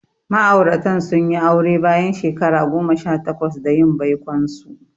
Ma'auratan sun yi aure bayan shekara goma sha takwas da yin baikonsu.